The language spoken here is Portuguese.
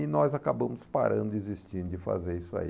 E nós acabamos parando, desistindo de fazer isso aí.